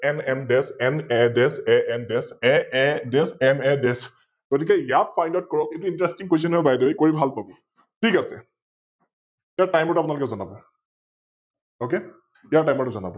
MMDeshMADeshANDeshAAMADesh গতিকে ইয়াক Pilot কৰক, এতো InterestingQuestion হয়, ByTheWay কৰি ভাল পাব, ঠিক আছে । ইয়াৰ Timer টো আপোনালোকে যনাৱ? Ok ইয়াৰ Timer যনাৱ?